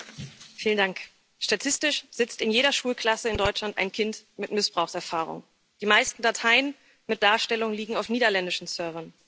Herr Präsident! Statistisch sitzt in jeder Schulklasse in Deutschland ein Kind mit Missbrauchserfahrung. Die meisten Dateien mit Darstellungen liegen auf niederländischen Servern.